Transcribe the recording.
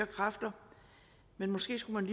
kræfter men måske skulle man